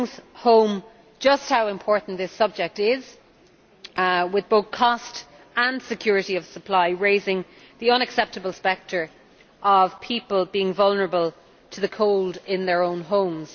That brings home just how important this subject is, with both cost and security of supply raising the unacceptable spectre of people being vulnerable to the cold in their own homes.